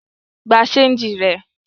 Gba ṣéńjì rẹ!